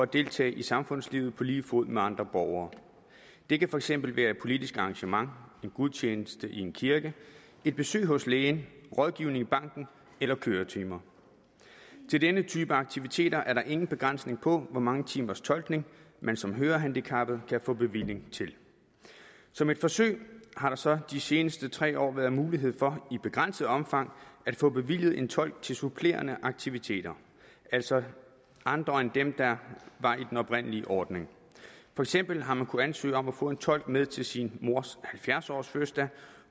deltage i samfundslivet på lige fod med andre borgere det kan for eksempel være et politisk arrangement en gudstjeneste i en kirke et besøg hos lægen rådgivning i banken eller køretimer til denne type aktiviteter er der ingen begrænsning på hvor mange timers tolkning man som hørehandicappet kan få bevilling til som et forsøg har der så de seneste tre år været mulighed for i begrænset omfang at få bevilget en tolk til supplerende aktiviteter altså andre end dem der var i den oprindelige ordning for eksempel har man kunnet ansøge om at få en tolk med til sin mors halvfjerds årsfødselsdag